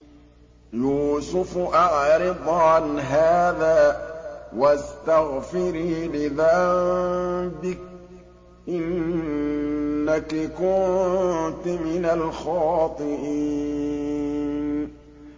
يُوسُفُ أَعْرِضْ عَنْ هَٰذَا ۚ وَاسْتَغْفِرِي لِذَنبِكِ ۖ إِنَّكِ كُنتِ مِنَ الْخَاطِئِينَ